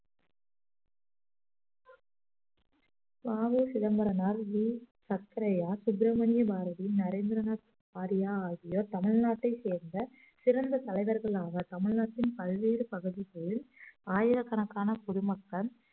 வ உ சிதம்பரனார் வி சக்கரையா சுப்பிரமணிய பாரதி நரேந்திரநாத் வாரியா ஆகியோர் தமிழ்நாட்டைச் சேர்ந்த சிறந்த தலைவர்களாக தமிழ்நாட்டின் பல்வேறு பகுதிகளில் ஆயிரக்கணக்கான பொதுமக்கள்